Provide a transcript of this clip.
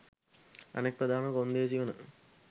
අනෙක් ප්‍රධාන කොන්දේසි වන